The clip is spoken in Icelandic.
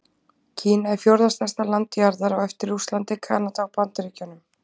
Kína er fjórða stærsta land jarðar á eftir Rússlandi, Kanada og Bandaríkjunum.